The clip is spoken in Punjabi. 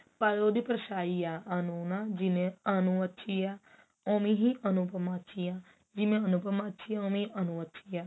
ਪਰ ਉਹਦੀ ਪਰਸ਼ਾਈ ਆ ਅਨੂ ਜਿਵੇਂ ਅਨੂ ਅੱਛੀ ਹੈ ਓਵੇਂ ਹੀ ਅਨੁਪਮਾ ਅੱਛੀ ਹੈ ਜਿਵੇਂ ਅਨੁਪਮਾ ਅੱਛੀ ਹੈ ਓਵੇਂ ਹੀ ਅਨੂ ਅੱਛੀ ਹੈ